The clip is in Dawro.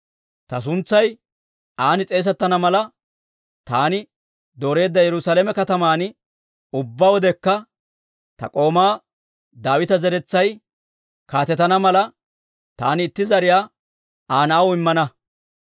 Ta suntsay an s'eesettana mala, taani dooreedda Yerusaalame kataman ubbaa wodekka ta k'oomaa Daawita zeretsay kaatetana mala, taani itti zariyaa Aa na'aw immana.